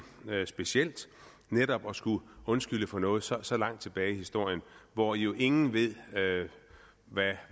specielt netop at skulle undskylde for noget så så langt tilbage i historien hvor jo ingen ved